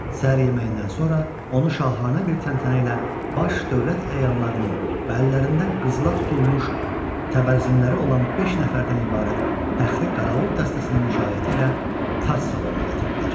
Səhər yeməyindən sonra onu şahanə bir təntənə ilə baş dövlət əyanlarının, bəllərində qızıla tutulmuş təbərzinləri olan beş nəfərdən ibarət pəxri qarağul dəstəsinin müşayiəti ilə tac salonuna gətirdilər.